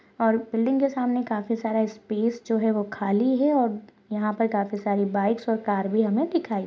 और के सामने काफी सारा स्पेस जो है वो खाली है और यहाँ पर हमें काफी सारी और भी दिखाई दे--